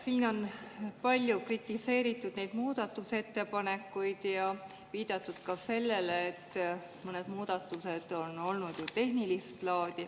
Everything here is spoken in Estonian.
Siin on palju kritiseeritud neid muudatusettepanekuid ja viidatud ka sellele, et mõned muudatused on olnud tehnilist laadi.